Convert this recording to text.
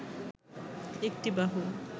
একটি বাহু